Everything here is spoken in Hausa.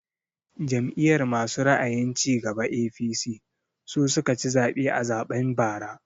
Jam'iyar masu ra'ayin cigaba (APC) su suka ci zaɓe a zaɓen bara